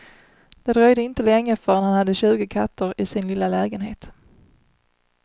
Det dröjde inte länge förrän han hade tjugo katter i sin lilla lägenhet.